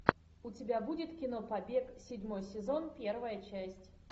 у тебя будет кино побег седьмой сезон первая часть